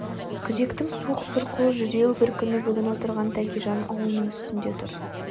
күзектің суық сұрқыл жүдеу бір күні бүгін отырған тәкежан ауылының үстінде тұр